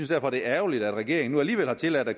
derfor det er ærgerligt at regeringen nu alligevel har tilladt at